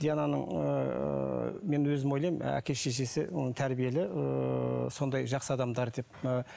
диананың ыыы мен өзім ойлаймын ы әке шешесі оның тәрбиелі ыыы сондай жақсы адамдар деп ы